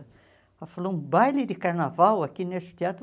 Ela falou, um baile de carnaval aqui nesse teatro?